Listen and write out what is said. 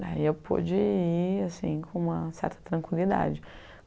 Daí eu pude ir assim com uma certa tranquilidade.